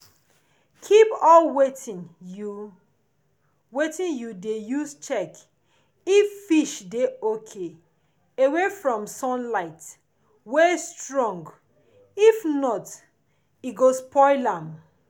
keep all wetin you wetin you de use check if fish de okay away from sunlight wey strong if not e go spoil am